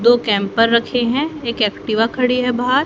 दो कैंपर रखे है एक एक्टिवा खड़ी है बाहर--